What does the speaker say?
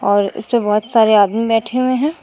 और इस पे बहुत सारे आदमी बैठे हुए हैं।